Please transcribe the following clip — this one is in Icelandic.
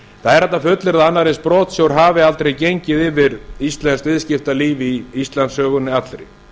það er hægt að fullyrða að annar eins brotsjór hafi aldrei gengið yfir íslenskt viðskiptalíf í íslandssögunni allri